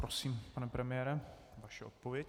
Prosím, pane premiére, vaše odpověď.